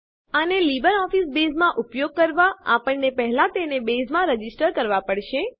આને લીબરઓફીસ બેઝમાં ઉપયોગ કરવા આપણને પહેલા તેને બેઝમાં રજીસ્ટરનોંધવુંકરવા પડશે